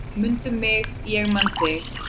Mundu mig, ég man mig!